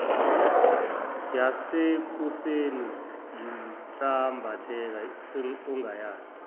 yasekuseni yinsambatheka ongayazi